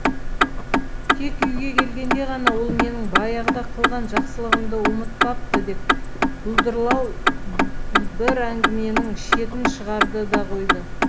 тек үйге келгенде ғана ол менің баяғыда қылған жақсылығымды ұмытпапты деп бұлдырлау бір әңгіменің шетін шығарды да қойды